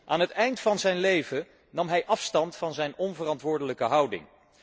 Aan het eind van zijn leven nam hij afstand van zijn onverantwoordelijke houding.